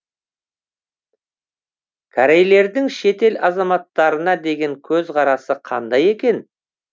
корейлердің шетел азаматтарына деген көзқарасы қандай екен